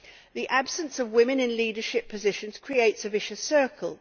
The absence of women in leadership positions creates a vicious circle.